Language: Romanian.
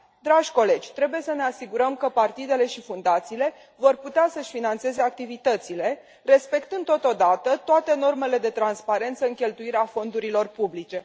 Dragi colegi, trebuie să ne asigurăm că partidele și fundațiile vor putea să își finanțeze activitățile, respectând totodată toate normele de transparență în cheltuirea fondurilor publice.